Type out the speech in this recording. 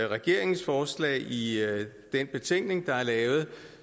regeringens forslag i den betænkning der er lavet